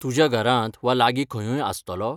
तुज्या घरांत वा लागीं खंयूंय आसतलो?